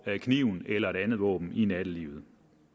kniven eller et andet våben i nattelivet